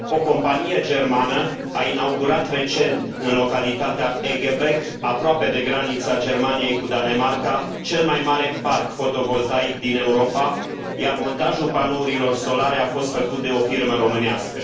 O companie germană a inaugurat recent în localitatea Eggebek, aproape de granița Germaniei cu Danemarca, cel mai mare parc fotovoltaic din Europa, iar montajul panourilor solare a fost făcut de o firmă românească.